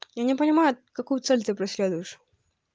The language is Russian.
я не понимаю какую цель ты преследуешь